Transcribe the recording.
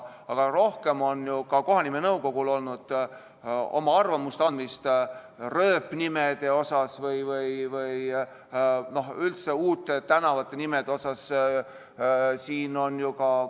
Aga rohkem on ju ka kohanimenõukogul olnud arvamuse andmist rööpnimede kohta või üldse uute tänavate nimede kohta.